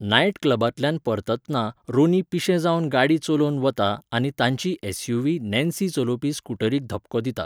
Night क्लबांतल्यान परततना Ronnie पिशें जावन गाडी चलोवन वता आनी तांची एसयूव्ही नॅन्सी चलोवपी स्कुटरिक धपको दिता.